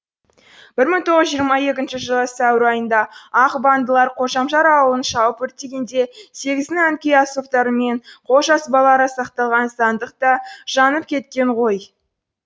бір мың тоғыз жүз жиырма екінші жылы сәуір айында ақ бандылар қожамжар ауылын шауып өртегенде сегіздің ән күй аспаптары мен қолжазбалары сақталған сандық та жанып кеткен ғой